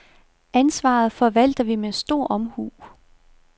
Ansvaret forvalter vi med stor omhu.